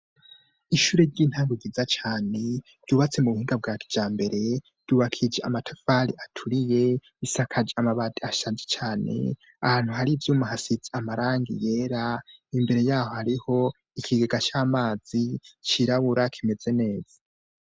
Ishure ry'intango giza cane ryubatse mu buhunda bwa kija mbere rubakije amatafali aturiye isakaje amabadi ashanje cane ahantu hari ivyumu hasitsi amarangi yera imbere yaho hariho ikigaga c'amazi cirabura kimeze neza.